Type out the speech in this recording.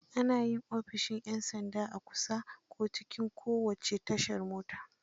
Ana yi ofishin 'yan sanda a kusa, ko cikin kowace tashar mota.